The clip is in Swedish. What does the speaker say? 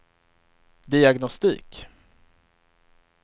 diagnostik